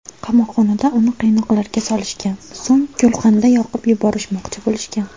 Qamoqxonada uni qiynoqlarga solishgan, so‘ng gulxanda yoqib yuborishmoqchi bo‘lishgan.